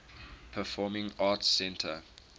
performing arts center